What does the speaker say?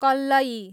कल्लयी